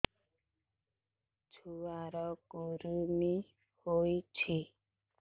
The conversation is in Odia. ଛୁଆ ର କୁରୁମି ହୋଇଛି